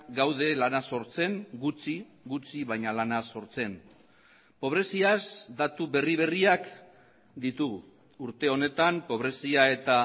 gaude lana sortzen gutxi gutxi baina lana sortzen pobreziaz datu berri berriak ditugu urte honetan pobrezia eta